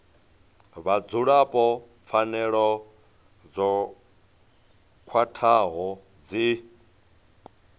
vhadzulapo pfanelo dzo khwathaho dzi